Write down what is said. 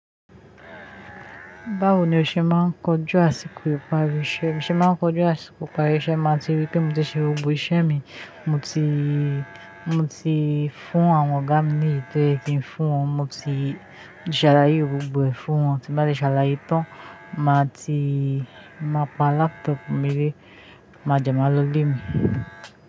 Báwo ni o ṣe máa ń kọjú àsìkò ìparí iṣẹ́? Bí mò ṣe máa ń kọjú àsìkò ìparí iṣẹ́, máà tí rí pé mo ti ṣe gbogbo iṣẹ́ mi, mo ti, mo ti fún àwọn ọ̀gá mi ní èyí tò yẹ kín fún wọn, mo ti ti ṣàlàyé gbogbo ẹ̀ fún wọn, tí bá lè ṣàlàyé tán, màá ti, màá pa laptop mi lé, máa jẹ máa lọ ilé mi.